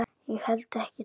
Ég held ekki, takk.